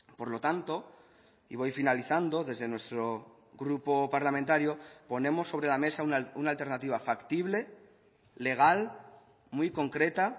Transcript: por lo tanto y voy finalizando desde nuestro grupo parlamentario ponemos sobre la mesa una alternativa factible legal muy concreta